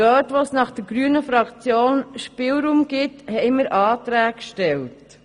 Dort, wo aus der Sicht der grünen Fraktion Spielraum besteht, haben wir Anträge gestellt.